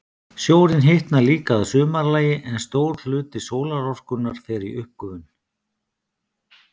Sjórinn hitnar líka að sumarlagi, en stór hluti sólarorkunnar fer í uppgufun.